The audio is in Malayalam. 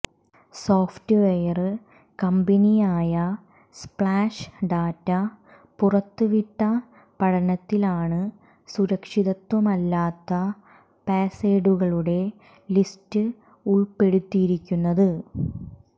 സോഫ്റ്റ്വെയര് കമ്പനിയായ സ്പ്ലാഷ് ഡാറ്റ പുറത്തുവിട്ട പഠനത്തിലാണ് സുരക്ഷിതത്വമല്ലാത്ത പാസ്വേഡുകളുടെ ലിസ്റ്റ് ഉള്പ്പെടുത്തിയിരിക്കുന്നത്